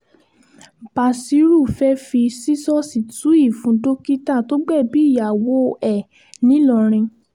bashiru fẹ́ẹ́ fi ṣíṣọ́ọ̀ṣì tú ìfun dókítà tó gbẹ̀bí ìyàwó ẹ̀ ńìlọrin